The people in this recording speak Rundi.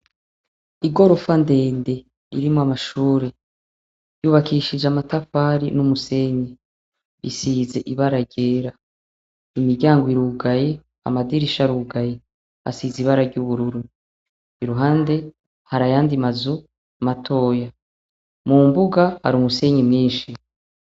Igorofa ndende, irimwo amashure. Ryubakishije amatafari n'umusenyi. Isize ibara ryera. Imiryango irugaye, amadirisha arugaye. Hasize ibara ry'ubururu. Iruhande hari ayandi mazu matoya. Mumbuga hari umusenyi mwinshi.